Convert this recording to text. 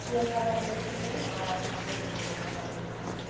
খাওয়ার না খেতে আর সকালে হাঁটাহাঁটি করতে।